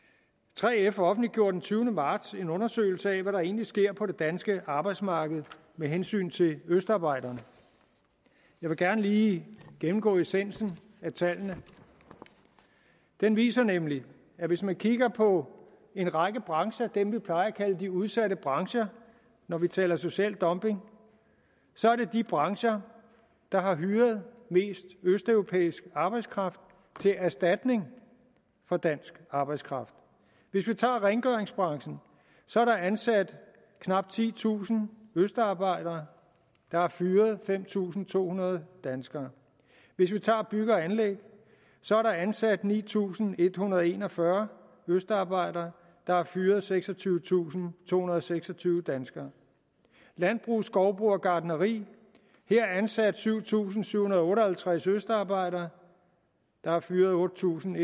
3f offentliggjorde den tyvende marts en undersøgelse af hvad der egentlig sker på det danske arbejdsmarked med hensyn til østarbejderne jeg vil gerne lige gennemgå essensen af tallene den viser nemlig at hvis man kigger på en række brancher af dem vi plejer at kalde de udsatte brancher når vi taler om social dumping så er det de brancher der har hyret mest østeuropæisk arbejdskraft til erstatning for dansk arbejdskraft hvis vi tager rengøringsbranchen så er der ansat knap titusind østarbejdere der er fyret fem tusind to hundrede danskere hvis vi tager bygge og anlæg så er der ansat ni tusind en hundrede og en og fyrre østarbejdere der er fyret seksogtyvetusinde og tohundrede og seksogtyve danskere landbrug skovbrug og gartneri her er ansat syv tusind syv hundrede og otte og halvtreds østarbejdere der er fyret otte tusind